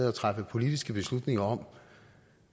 at træffe politiske beslutninger om